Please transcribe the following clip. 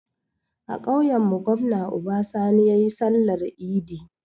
A kauyan mu gwamna Uba Sani yayi sallar idi